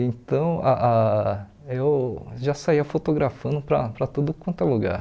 Então, ah ah eu já saía fotografando para para tudo quanto é lugar.